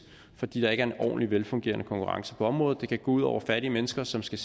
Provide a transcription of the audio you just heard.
fordi der ikke er en ordentlig og velfungerende konkurrence på området det kan gå ud over fattige mennesker som skal